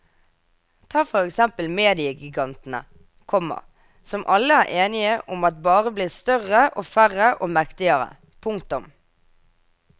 Ta for eksempel mediegigantene, komma som alle er enige om bare blir større og færre og mektigere. punktum